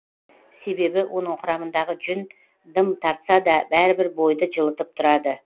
себебі оның құрамындағы жүн дым тартса да бәрібір бойды жылытып тұрады